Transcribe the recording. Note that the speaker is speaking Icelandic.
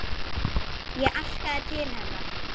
Ég arkaði til hennar.